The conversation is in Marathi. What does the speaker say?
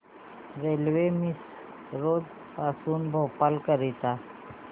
रेल्वे मिसरोद पासून भोपाळ करीता